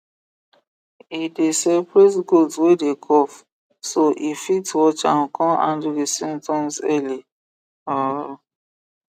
e dey separate goat wey dey cough so e fit watch am con handle the symptoms early um